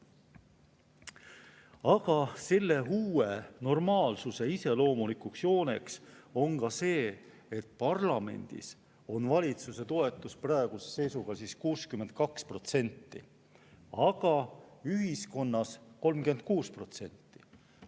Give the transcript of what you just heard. Aga selle uue normaalsuse iseloomulikuks jooneks on ka see, et parlamendis on valitsuse toetus praeguse seisuga 62%, aga ühiskonnas 36%.